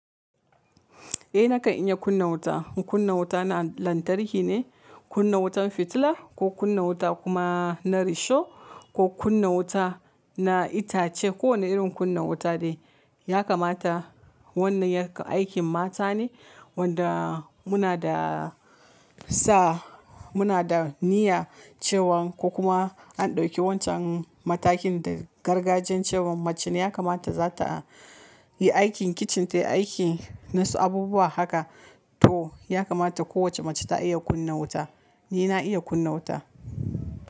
Eh nakan iya kunna wuta. Kunna wuta na lantarki ne, kunna wutan fitila ko kunna wuta kuma na risho ko kunna wuta na itace. Kowane irin kunna wuta dai yakamata wannan yak aikin mata ne wanda muna da sa muna da niyya cewan ko kuma an dauki wancan matakin da gargajiya cewan mace ne yakamata za ta yi aikin kicin ta yi aiki na su abubuwa haka to yakamata kowace mace ta iya kunna wuta. Ni na iya kunna wuta.